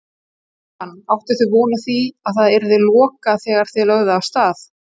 Jóhann: Áttuð þið von á að að yrði lokað þegar þið lögðuð af stað?